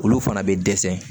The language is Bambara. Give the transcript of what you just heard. Olu fana bɛ dɛsɛ